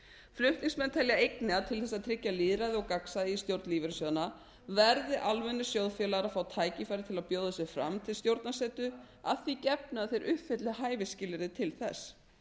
flutningsmenn telja einnig að til þess að tryggja lýðræði og gagnsæi í stjórn lífeyrissjóðanna verði almennir sjóðfélagar að fá tækifæri til að bjóða sig fram til stjórnarsetu að því gefnu að þeir uppfylli hæfisskilyrði til þess